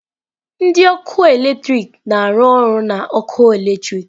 Ndị ọkụ eletrik na-arụ ọrụ na ọkụ eletrik